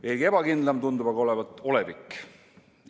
Veelgi ebakindlam tundub aga olevat olevik.